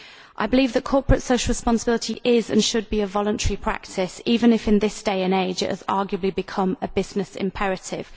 I believe that corporate social responsibility is and should be a voluntary practice, even if in this day and age it has arguably become a business imperative.